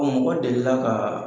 mɔgɔ delila ka